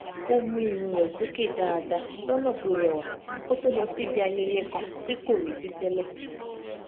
ó mú irun rè sókè dáadáa lọnà tó rẹwa kó tó lọ síbi ayẹyẹ kan tí kò retí tẹlẹ